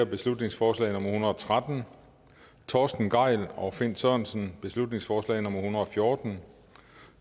beslutningsforslag nummer hundrede og tretten torsten gejl og finn sørensen beslutningsforslag nummer hundrede og fjorten